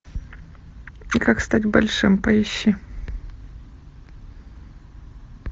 как стать большим поищи